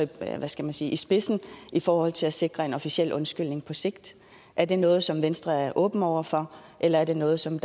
i spidsen i forhold til at sikre en officiel undskyldning på sigt er det noget som venstre er åben over for eller er det noget som